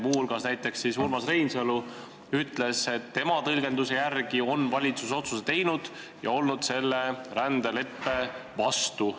Muu hulgas ütles näiteks Urmas Reinsalu, et tema tõlgenduse järgi on valitsus otsuse teinud ja selle rändeleppe vastu olnud.